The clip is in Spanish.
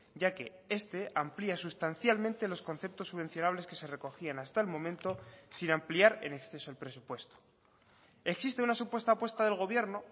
ya que este amplia sustancialmente los conceptos subvencionables que se recogían hasta el momento sin ampliar en exceso el presupuesto existe una supuesta apuesta del gobierno